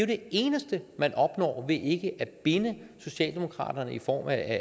det eneste man opnår ved ikke at binde socialdemokraterne i form af